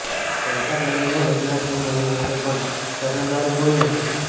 વૈશાખ મહિનો લગ્નસરાનો મહિનો છે પણ પરણનારું કોઈ નથી